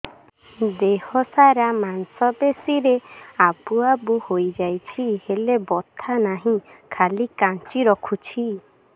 ଦେହ ସାରା ମାଂସ ପେଷି ରେ ଆବୁ ଆବୁ ହୋଇଯାଇଛି ହେଲେ ବଥା ନାହିଁ ଖାଲି କାଞ୍ଚି ରଖୁଛି